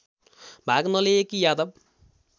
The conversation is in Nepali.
भाग नलिएकी यादव